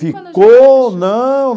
Ficou, não.